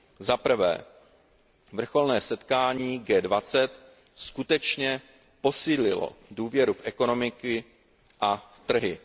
Za prvé, vrcholné setkání G20 skutečně posílilo důvěru v ekonomiku a v trhy.